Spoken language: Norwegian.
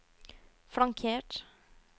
flankert